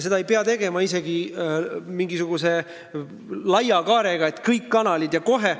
Seda ei pea isegi mingisuguse laia kaarega tegema, et kõik kanalid ja kohe.